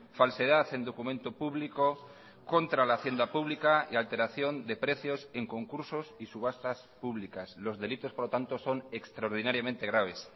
falsedad en documento público contra la hacienda pública y alteración de precios en concursos y subastas públicas los delitos por lo tanto son extraordinariamente graves